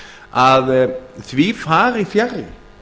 að því fari fjarri